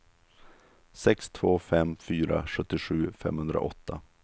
sex två fem fyra sjuttiosju femhundraåtta